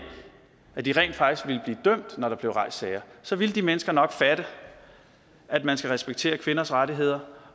at de rent faktisk ville blive dømt når der blev rejst sager så ville de mennesker nok fatte at man skal respektere kvinders rettigheder